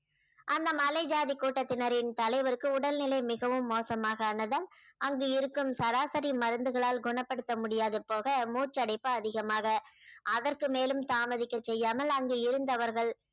அந்த மலை ஜாதி கூட்டத்தினரின் தலைவருக்கு உடல்நிலை மிகவும் மோசமாக ஆனதால் அங்கு இருக்கும் சராசரி மருந்துகளால் குணப்படுத்த முடியாது போக மூச்சடைப்பு அதிகமாக அதற்கு மேலும் தாமதிக்க செய்யாமல் அங்கு இருந்தவர்கள்